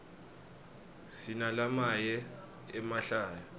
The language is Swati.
sinalamaye emahlaya